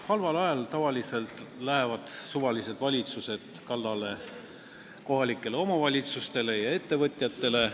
Halval ajal tavaliselt läheb mis tahes valitsus kallale kohalikele omavalitsustele ja ettevõtjatele.